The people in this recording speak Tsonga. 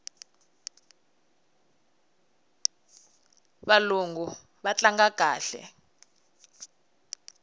valungu va tlanga kahle